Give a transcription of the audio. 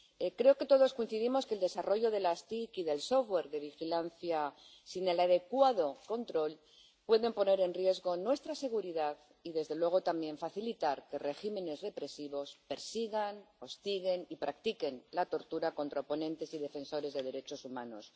Creo que todos coincidimos en que el desarrollo de las TIC y del software de vigilancia, sin el adecuado control, puede poner en riesgo nuestra seguridad y, desde luego, también facilitar que regímenes represivos persigan, hostiguen y practiquen la tortura contra oponentes y defensores de derechos humanos.